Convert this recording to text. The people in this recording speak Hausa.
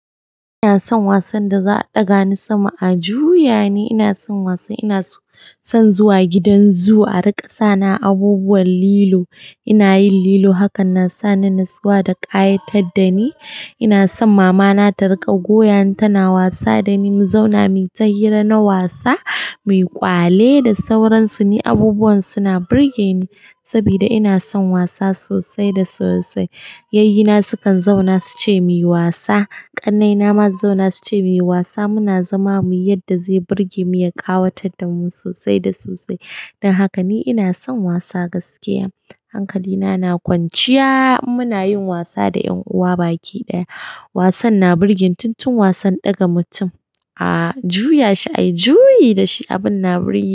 Ina son wasan da za'a ɗaga ni sama a juya ni. Ina son wasan ina son zuwa gidan zoo a riƙa sani a abubuwan lilo. Ina yin lilo hakan na sani natsuwa da ƙayatar dani. Ina son mamana ta riƙa goyani tana wasa dani. Mu zauna, muyi ta hira na wasa, mu yi ƙwale da sauransu. Ni abubuwan suna burge ni saboda ina son wasa sosai da sosai. Yayyena sukan zauna suce muyi wasa. Ƙannena ma su zauna suce muyi wasa. Muna zama muyi yadda zai burge mu ya ƙawatar damu sosai da sosai. Don haka ni ina son wasa gaskiya. Hankali na, na kwanciya in muna yin wasa da ƴan'uwa baki ɗaya. Wasan na burge ni. Tun tun wasan ɗaga mutum a juya shi a yi juyi dashi abin na burge ni.